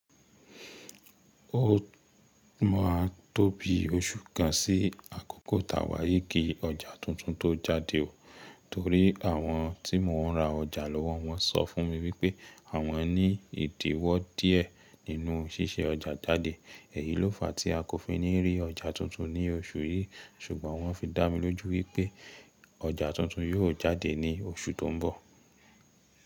Ó máa n tó bi oṣù kan sí àkókò tà wáyii kí ọjà tuntun tó jáde o. Torí àwọn tí mò ń ra ọjà lọ́wọ́ wọ́n sọ fún mi wípé àwọn ní ìdíwọ́ díẹ̀ nínú ṣíṣe ọjà jáde. Èyií ló fàá tí a kò fi ní rí ọjà tuntun ní oṣù yìí. Ṣùgbọ́n wọ́n fi dá mi lójú wípé ọjà tuntun yóò jáde ní oṣù tó ń bọ̀.